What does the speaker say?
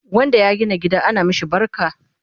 wanda ya gina gida ana mashi barka